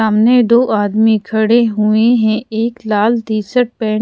आमने दो आदमी खड़े हुए है एक लाल टीशर्ट पहन--